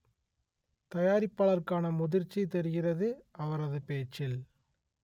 தயாரிப்பாளருக்கான முதிர்ச்சி தெரிகிறது அவரது பேச்சில்